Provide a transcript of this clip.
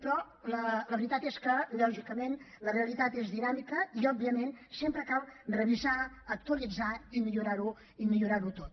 però la veritat és que lògicament la realitat és dinàmica i òbviament sempre cal revisar actualitzar i millorar ho tot